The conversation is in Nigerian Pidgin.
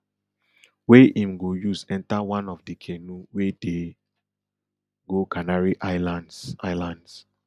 wey im go use enta one of di canoe wey dey go canary islands islands